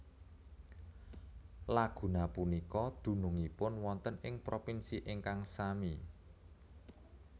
Laguna punika dunungipun wonten ing propinsi ingkang sami